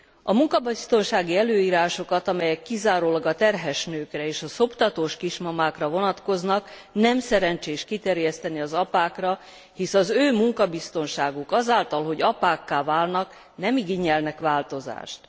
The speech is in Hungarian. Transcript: A munkabiztonsági előírásokat, amelyek kizárólag a terhes nőkre és a szoptatós kismamákra vonatkoznak nem szerencsés kiterjeszteni az apákra, hisz az ő munkabiztonságuk azáltal, hogy apákká válnak, nem igényel változást.